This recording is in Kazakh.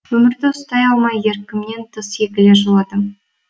өзімді ұстай алмай еркімнен тыс егіле жыладым